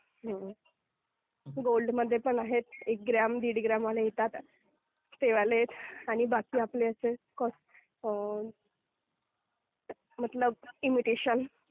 गोल्डमध्ये पण आहेत, एक ग्राम, दीड ग्राममध्ये पण येतात ते वाले आहेत आणि बाकी आपले असे मतलब इमिटेशन.